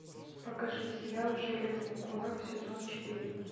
покажи сериал железный кулак сезон четыре